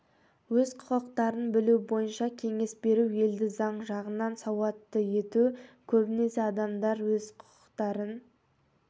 өз құқықтарын білу бойынша кеңес беру елді заң жағынан сауатты ету көбінесе адамдар өз құқықтарын